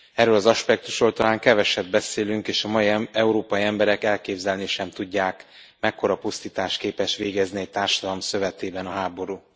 Erről az aspektusról talán keveset beszélünk, és a mai európai emberek elképzelni sem tudják, mekkora pusztítást képes végezni egy társadalom szövetében a háború.